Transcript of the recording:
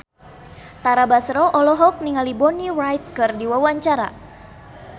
Tara Basro olohok ningali Bonnie Wright keur diwawancara